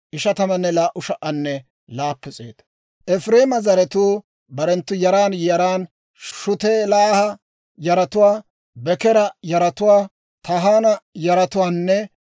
Efireema zaratuu barenttu yaran yaran: Shutelaaha yaratuwaa, Bekeera yaratuwaa, Tahaana yaratuwaanne